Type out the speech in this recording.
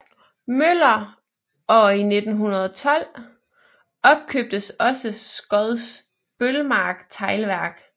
Møller og i 1921 opkøbtes også Skodsbølmark Teglværk